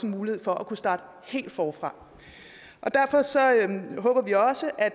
mulighed for at kunne starte helt forfra derfor håber vi også at